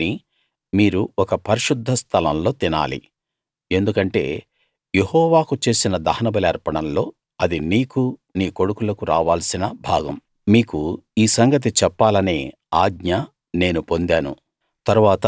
దాన్ని మీరు ఒక పరిశుద్ధ స్థలం లో తినాలి ఎందుకంటే యెహోవాకు చేసిన దహనబలి అర్పణల్లో అది నీకూ నీ కొడుకులకూ రావాల్సిన భాగం మీకు ఈ సంగతి చెప్పాలనే ఆజ్ఞ నేను పొందాను